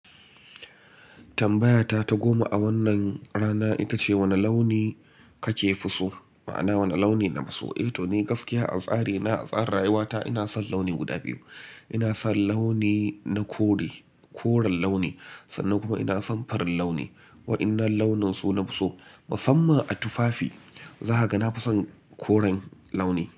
Tambayata ta goma a wannan rana ita ce wane launi kafi so? Ma'ana wane launi nafi so? Eh to ni gaskiya a tsari na, a tsarin rayuwa ta ina son launi guda biyu. Ina son launi na kore, koren launi sannan kuma ina son farin launi. Waɗannan launin su nafi so. Musamman a tufafi za a ga nafi son koren launi.